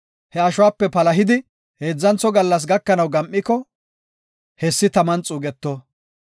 He ashuwape palahidi heedzantho gallas gakanaw gam7iko hessi taman xuugeto.